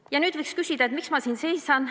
Ja nüüd võiks küsida, miks ma siin seisan.